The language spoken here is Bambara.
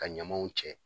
Ka ɲamaw cɛ